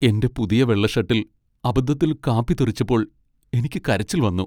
എന്റെ പുതിയ വെള്ള ഷട്ടിൽ അബദ്ധത്തിൽ കാപ്പി തെറിച്ചപ്പോൾ എനിക്ക് കരച്ചിൽ വന്നു.